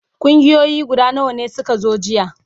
Kungiyoyi guda nawa ne suka zo jiya?